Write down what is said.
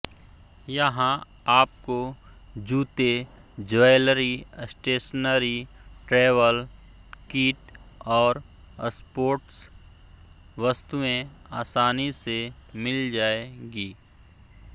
यहाँ आपको जूते ज्वैलरी स्टेशनरी ट्रैवल किट और स्पोाट्स वस्तुएं आसानी से मिल जाएगी